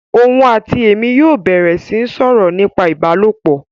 Òun àti èmi yóò bẹ̀rẹ̀ sí ń sọ̀rọ̀ nípa ìbálòpọ̀